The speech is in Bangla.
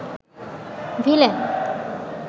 ভিলেন